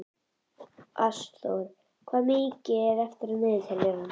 Ásþór, hvað er mikið eftir af niðurteljaranum?